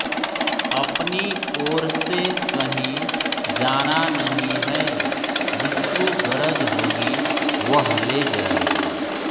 अपनी ओरसे कहीं जाना नहीं है जिसको गरज होगी वह ले जायगा